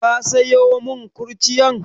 Ka sayo mun kurciyan?